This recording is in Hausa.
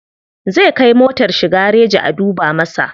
Zai kai motar shi gareji a duba masa.